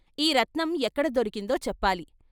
ఈ రత్నం ఎక్కడ దొరికిందో చెప్పాలి.